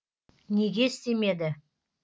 неге істемеді